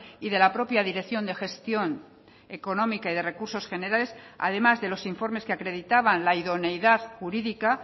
y de la propia dirección de gestión económica y de recursos generales además de los informes que acreditaban la idoneidad jurídica